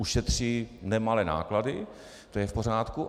Ušetří nemalé náklady, to je v pořádku.